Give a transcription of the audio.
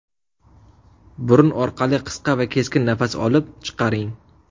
Burun orqali qisqa va keskin nafas olib, chiqaring.